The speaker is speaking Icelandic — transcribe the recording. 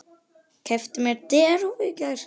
Keypti mér derhúfu í gær.